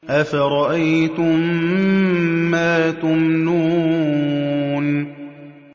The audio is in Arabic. أَفَرَأَيْتُم مَّا تُمْنُونَ